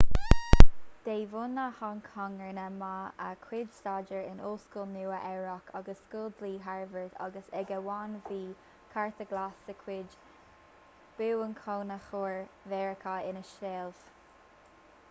de bhunadh hong cong rinne ma a chuid staidéar in ollscoil nua-eabhrac agus scoil dlí harvard agus ag am amháin bhí cárta glas de chuid bhuanchónaitheoir mheiriceá ina sheilbh